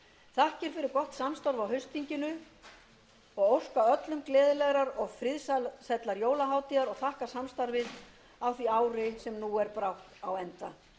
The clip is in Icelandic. þakkir fyrir gott samstarf á haustþinginu og óska öllum gleðilegrar og friðsællar jólahátíðar og þakka samstarfið á því ári sem nú er brátt á enda þeim sem eiga um langan veg heim